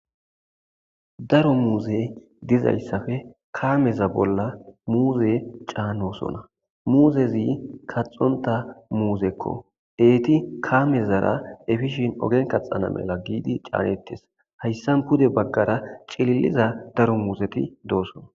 Daro muuze dizayssafe kaameza bolla muuze caanosona muuzezi kaxonta muuzekko eeti kaamezara efishin ogen kaxana mela giidi caanettes hayssan pude baggara cililiza daro muuseti doosona.